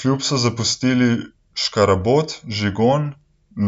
Klub so zapustili Škarabot, Žigon,